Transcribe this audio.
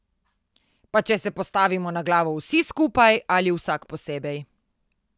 Pa če se postavimo na glavo vsi skupaj ali vsak posebej.